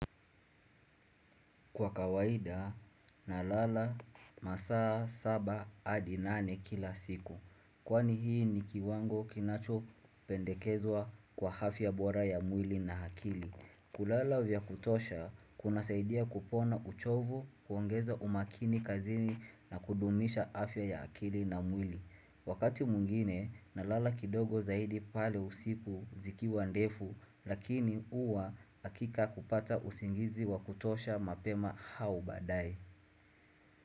Kwa kawaida, nalala masaa saba hadi nane kila siku. Kwani hii ni kiwango kinachopendekezwa kwa afya bora ya mwili na akili. Kulala vya kutosha, kunasaidia kupona uchovu, kuongeza umakini kazini na kudumisha afya ya akili na mwili. Wakati mwingine, nalala kidogo zaidi pale usiku zikiwa ndefu, lakini huwa hakika kupata usingizi wa kutosha mapema au baadae.